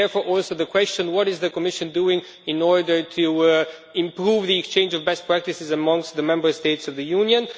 Therefore, also the question what is the Commission doing in order to improve the exchange of best practices amongst the Member States of the Union?